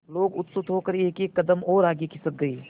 लोग उत्सुक होकर एकएक कदम और आगे खिसक गए